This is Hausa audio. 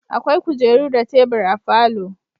Akwai kujeru da tebur a falo